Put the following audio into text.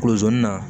Kolon sɔnni na